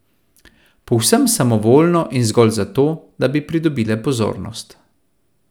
Povsem samovoljno in zgolj zato, da bi pridobile pozornost.